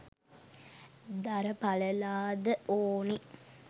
දර පාලලා ද ඕනේ